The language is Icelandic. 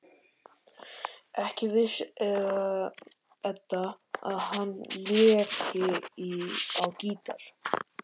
Ekki vissi Edda að hann léki á gítar.